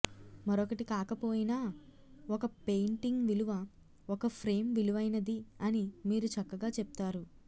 మరొకటి కాకపోయినా ఒక పెయింటింగ్ విలువ ఒక ఫ్రేమ్ విలువైనది అని మీరు చక్కగా చెప్తారు